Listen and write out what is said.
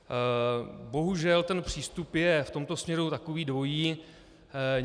Bohužel ten přístup je v tomto směru takový dvojí.